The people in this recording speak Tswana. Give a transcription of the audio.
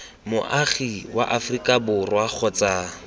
moagi wa aforika borwa kgotsa